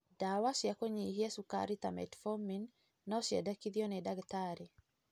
Ndawa cia kũnyihia cukari ta metformin no ciendekithio nĩ ndagĩtarĩ.